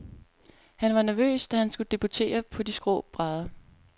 Han var nervøs, da han skulle debutere på de skrå brædder.